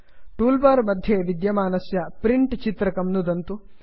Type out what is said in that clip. tool bar मध्ये विद्यमानस्य print चित्रकं नुदन्तु